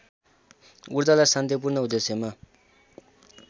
ऊर्जालाई शान्तिपूर्ण उद्देश्यमा